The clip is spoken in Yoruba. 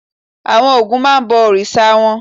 Àwọn Ògún máa ń bọ òrìṣà wọn.